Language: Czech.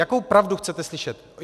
Jakou pravdu chcete slyšet?